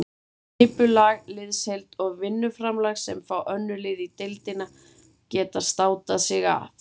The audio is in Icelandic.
Skipulag, liðsheild og vinnuframlag sem fá önnur lið í deildinni geta státað sig af.